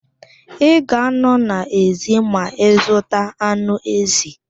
Ị ga a nọ n'èzí ma ị zuta anụ èzì.